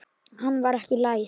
Hann var ekki læs.